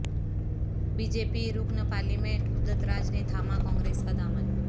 be J P رکن parliament Udit Raj نے تھاما کانگریس کا دامن